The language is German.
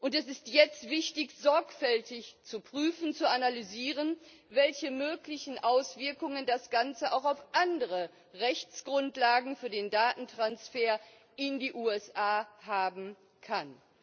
Es ist jetzt wichtig, sorgfältig zu prüfen, zu analysieren, welche möglichen Auswirkungen das Ganze auch auf andere Rechtsgrundlagen für den Datentransfer in die USA haben kann.